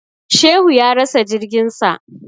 Shehu ya rasa jirgin sa.